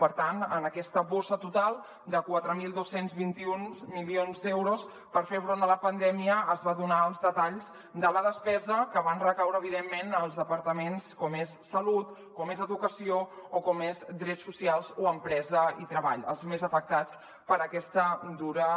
per tant en aquesta bossa total de quatre mil dos cents i vint un milions d’euros per fer front a la pandèmia es va donar els detalls de la despesa que van recaure evidentment en els departaments com és salut com és educació o com és drets socials o empresa i treball els més afectats per aquesta dura